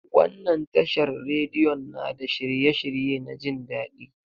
Wannan tashar radiyon na da shirye shirye na jin daɗi.